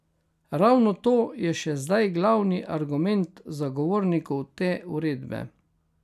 Ravno to je še zdaj glavni argument zagovornikov te uredbe.